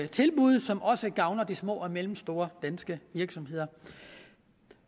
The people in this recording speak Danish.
tilbud som også gavner de små og mellemstore danske virksomheder